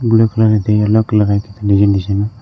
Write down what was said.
blue colour ಐತಿ yellow colour ಐತಿ design design --